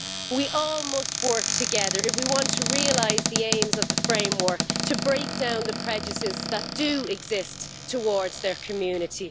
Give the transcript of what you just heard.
We all must work together if we want to realise the aims of the framework and to break down the prejudices that do exist towards their community.